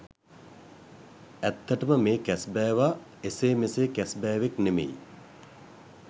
ඇත්තටම මේ කැස්බෑවා එසේ මෙසේ කැස්බෑවෙක් නෙමෙයි.